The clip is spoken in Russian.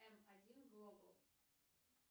эм один глобал